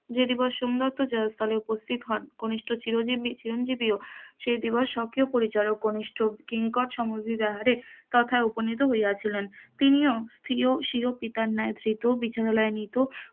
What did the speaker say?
যদি বা সোম দত্ত জয়স্থলের উপস্থিত কনিষ্ঠ চিরঞ্জীব চিরঞ্জীবিও সেই দিবা পরিবারক কনিষ্ঠ কিঙ্কর সম বিব্যাহারে তথা উপনীত হইয়াছিলেন, তিনি স্বিয় স্বিয় পিতার ন্যায় ধৃত বিচলাইয়ানায়িত,